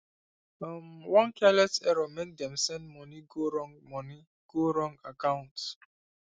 um one careless error make dem send money go wrong money go wrong account